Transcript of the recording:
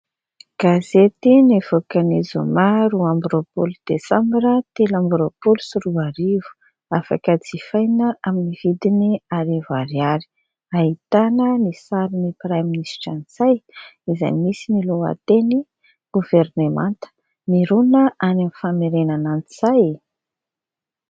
Gazety nivoaka ny zoma roa ambin'ny roapolo desambra telo ambin'ny roapolo sy roa arivo, afaka jifaina amin'ny vidiny arivo ariary, ahitana ny sariny praiminisitra "Ntsay" izay misy ny lohateny :《Governemanta miroana any amin'ny famerenana an'i Ntsay》.